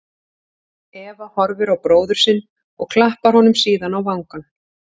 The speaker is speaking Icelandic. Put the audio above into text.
Eva horfir á bróður sinn og klappar honum síðan á vangann.